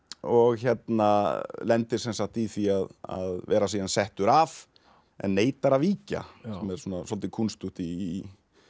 og lendir sem sagt í því að vera síðan settur af en neitar að víkja sem er svolítið kúnstugt í